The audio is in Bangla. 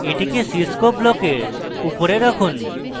এটিকে cscope ব্লকের উপরে রাখুন